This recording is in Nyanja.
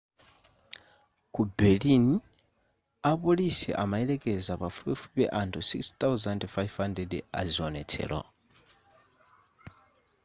ku berlin apolisi amayelekeza pafupifupi anthu 6,500 aziwonetsero